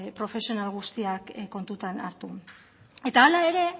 profesional guztiak kontutan hartu eta